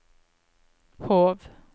Hov